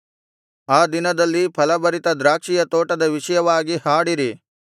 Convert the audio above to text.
ಆ ದಿನದಲ್ಲಿ ಫಲಭರಿತ ದ್ರಾಕ್ಷಿಯ ತೋಟದ ವಿಷಯವಾಗಿ ಹಾಡಿರಿ